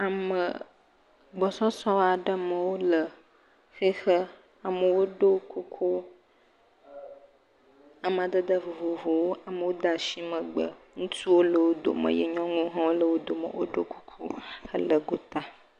Ame gbɔsɔsɔ aɖe me wole xixe. Amewo ɖɔ kuku amadede vovovowo. Amewo de megbe. Ŋutsuwo le wo dome ye nyɔnuwo hã le wo dome. Woɖo kuku hele gota.